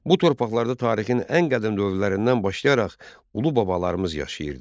Bu torpaqlarda tarixin ən qədim dövrlərindən başlayaraq ulu babalarımız yaşayırdı.